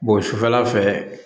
sufɛla fɛ